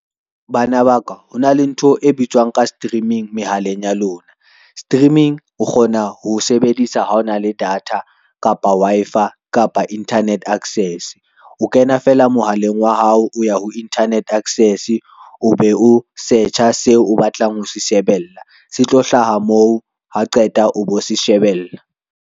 Bana ba ka ho na le ntho e bitswang ka streaming mehaleng ya lona. Streaming o kgona ho sebedisa ha o na le data, kapa Wi-Fi, kapa internet access. O kena fela mohaleng wa hao o ya ho internet access o be o search-a seo o batlang ho se shebella se tlo hlaha moo ha qeta o bo se shebella.